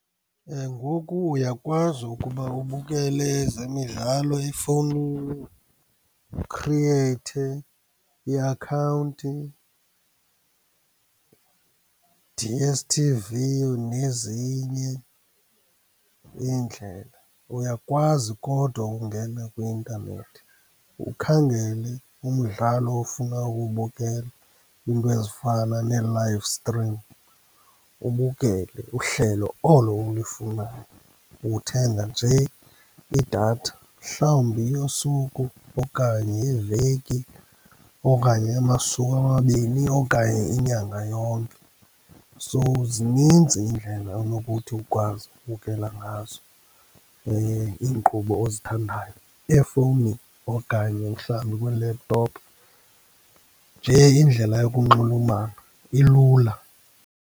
Ngoku uyakwazi ukuba ubukele ezemidlalo efowunini, ukhriyeyithe iakhawunti, D_S_t_v nezinye iindlela. Uyakwazi kodwa ukungena kwi-intanethi, ukhangele umdlalo ofuna ukuwubukela, into ezifana nee-live stream, ubukele uhlelo olo ulufunayo. Uthenga nje idatha, mhlawumbi yosuku okanye yeveki, okanye eyamasuku amabini okanye inyanga yonke. So, zininzi iindlela onokuthi ukwazi ukubukela ngazo iinkqubo ozithandayo efowunini okanye mhlawumbi kwi-laptop, nje indlela yokunxulumana ilula.